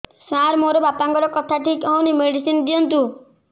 ସାର ମୋର ବାପାଙ୍କର କଥା ଠିକ ହଉନି ମେଡିସିନ ଦିଅନ୍ତୁ